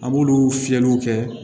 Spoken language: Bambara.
An b'olu fiyɛliw kɛ